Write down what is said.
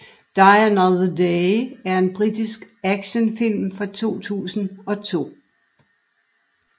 Die Another Day er en britisk actionfilm fra 2002